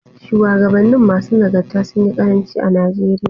Shuwagabannin masu nagarta sunyi ƙaranci a Najeriya.